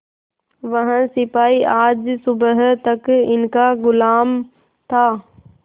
वह सिपाही आज सुबह तक इनका गुलाम था